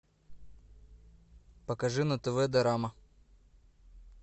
покажи на тв дорама